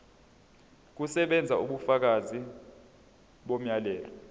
kusebenza ubufakazi bomyalelo